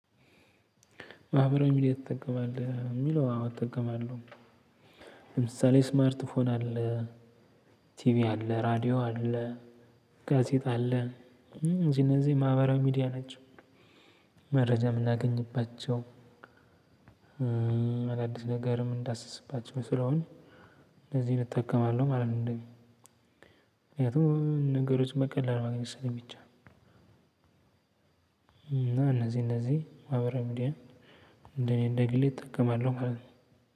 ማህበራዊ ሚዲያ ትጠቀማለህ? ለሚለው አዎ እጠቀማለሁ። ለምሳሌ ስማርት ፎን አለ ቲቪ አለ ራዲዮ አለ ጋዜጣ አለ። እነዚህ እነዚህ ማህበራዊ ሚዲያ ናቸው። መረጃ የምናገኝባቸው። አዳድስ ነገርም የምንዳስስባቸው ስለሆኑ እነዚህን እጠቀማለሁ ማለት ነው። ምክንያቱም ነገሮች በቀላል ማግኘት ስለሚቻል። እና እነዚህ እነዚህ ማህበራዊ ሚዲያ እኔ እንደ ግሌ እጠቀማለሁ ማለት ነው።